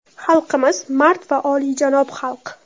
Xalqimiz – mard va olijanob xalq.